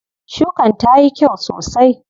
Shukan tayi kyau sosai.